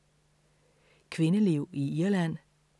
Kvindeliv i Irland